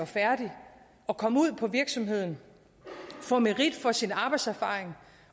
færdig at komme ud på virksomheden få merit for sin arbejdserfaring